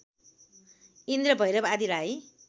इन्द्र भैरव आदिलाई